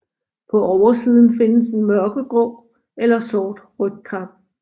På oversiden findes en mørkegrå eller sort rygkappe